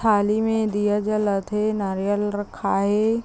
थाली में दिया जलत है नारियल रखा हे ।